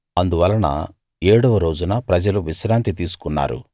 అందువలన ఏడవ రోజున ప్రజలు విశ్రాంతి తీసుకున్నారు